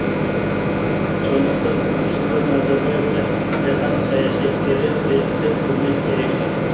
сондықтан нұрсұлтан назарбаевқа жаһан саясаткері ретінде құрмет ерекше